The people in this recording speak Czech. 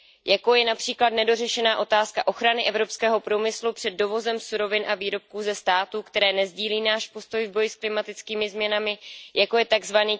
Jako je například nedořešená otázka ochrany evropského průmyslu před dovozem surovin a výrobků ze států, které nesdílí náš postoj k boji s klimatickými změnami, jako je tzv.